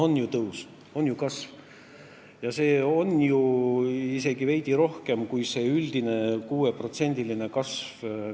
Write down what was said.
No on ju tõus, on ju kasv – see on isegi veidi suurem kui riigieelarve üldine 6%-line kasv.